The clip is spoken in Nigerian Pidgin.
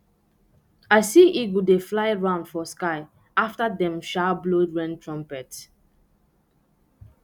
i see eagle dey fly round for sky after dem um blow rain trumpet